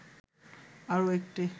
আরও একটি